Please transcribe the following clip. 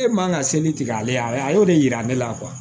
E man ka seli tigɛ ale y'o de yira ne la